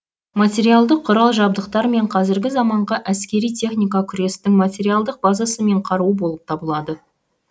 материалдық құрал жабдықтар мен қазіргі заманғы әскери техника күрестің материалдық базасы мен қаруы болып табылады